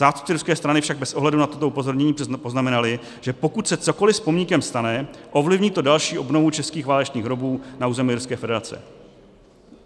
Zástupci ruské strany však bez ohledu na toto upozornění poznamenali, že pokud se cokoliv s pomníkem stane, ovlivní to další obnovu českých válečných hrobů na území Ruské federace.